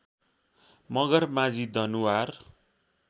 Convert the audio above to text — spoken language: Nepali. मगर माझी दनुवार